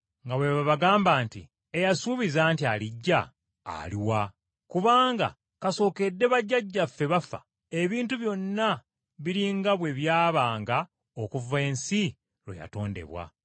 nga bwe bagamba nti, “Eyasuubiza nti alijja, aluwa? Kubanga kasookedde bajjajjaffe bafa, ebintu byonna biri nga bwe byabanga okuva ensi lwe yatondebwa!”